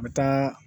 Bɛ tɔn